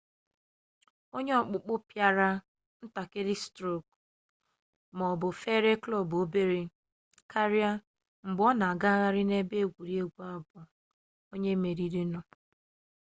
onye okpukpo piara ntakiri stroku ma obu fere klob obere karia mgbe o na agaghari n'ebe egwuregwu bu onye meririnu